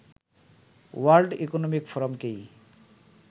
world economic ফোরামকেই